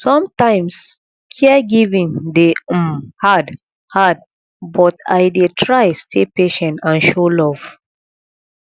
sometimes caregiving dey um hard hard but i dey try stay patient and show love